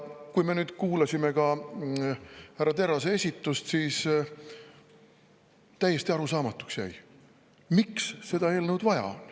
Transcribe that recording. Kui me kuulasime härra Terrase esitust, siis täiesti arusaamatuks jäi, miks seda eelnõu vaja on.